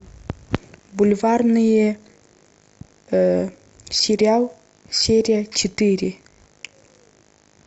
бульварные сериал серия четыре